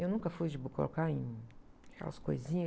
Eu nunca fui de, colocar em, aquelas coisinhas.